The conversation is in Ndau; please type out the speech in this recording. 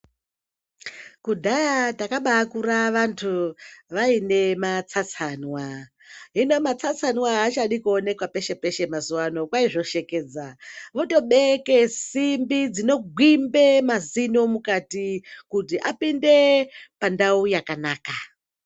Kudhaya rakakura vantu vaine matsatsanwa hino matsatsanwa achadankuonekwa peshe peshe Mazuva ano kwaizoshekedzwa votobekabsimbi dzinogwimba mukati kuti vaounde kwakanaka.